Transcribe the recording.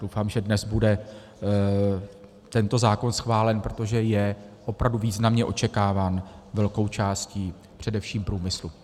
Doufám, že dnes bude tento zákon schválen, protože je opravdu významně očekáván velkou částí především průmyslu.